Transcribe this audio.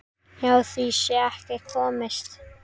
Hjá því sé ekki komist.